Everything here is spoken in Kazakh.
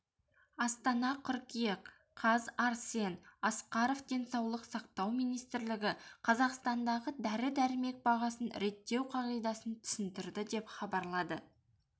астана қыркүйек қаз арсен асқаров денсаулық сақтау министрлігі қазақстандағы дәрі-дәрмек бағасын реттеу қағидасын түсіндірді деп хабарлады